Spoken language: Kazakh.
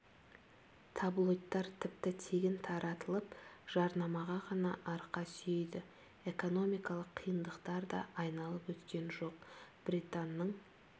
таблойдтар тіпті тегін таратылып жарнамаға ғана арқа сүйейді экономикалық қиындықтар де айналып өткен жоқ британның